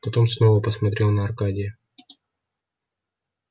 потом снова посмотрел на аркадия